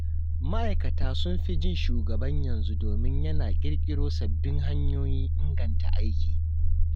Ma’aikata sun fi jin shugaban yanzu domin yana ƙirƙiro sababbin hanyoyin inganta aiki.